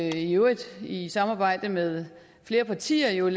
i øvrigt i samarbejde med flere partier jo